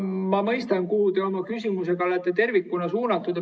Ma mõistan, kuhu te oma küsimuse olete tervikuna suunanud.